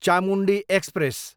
Chamundi express